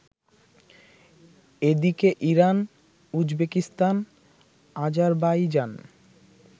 এদিকে Iran, Uzbekistan, Azerbaijan